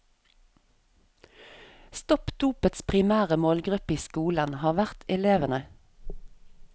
Stopp dopets primære målgruppe i skolen har vært elevene.